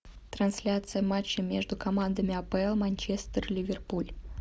трансляция матча между командами апл манчестер ливерпуль